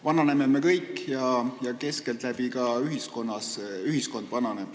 Vananeme me kõik ja keskeltläbi vananeb ka ühiskond.